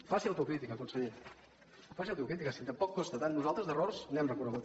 faci autocrítica conseller faci autocrítica si tampoc costa tant nosaltres d’errors n’hem reconegut